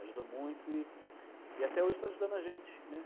Ajudou muito e e até hoje está ajudando a gente.